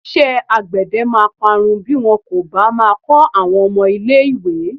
Iṣẹ́́ àgbède máa parun bí wọn kò bá máa kọ́ àwọn ọmọ ilé-ìwé.